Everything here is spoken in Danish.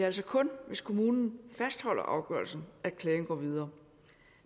altså kun hvis kommunen fastholder afgørelsen at klagen går videre